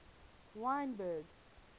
wynberg